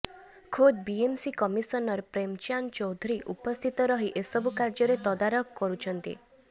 ଖୋଦ୍ BeMC commissioner Premchandra Chaudhury ଉପସ୍ଥିତ ରହି ଏସବୁ କାର୍ଯ୍ୟର ତଦରାଖ କରୁଛନ୍ତି